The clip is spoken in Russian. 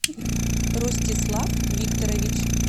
ростислав викторович